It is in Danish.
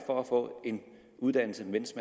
for at få en uddannelse mens